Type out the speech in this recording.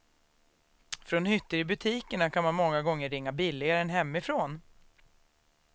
Från hytter i butikerna kan man många gånger ringa billigare än hemifrån.